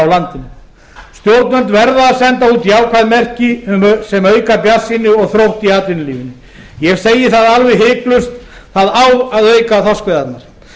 í landinu stjórnvöld verða að senda út jákvæð merki sem auka bjartsýni og þrótt í atvinnulífinu ég segi það alveg hiklaust það á að auka við þorskveiðarnar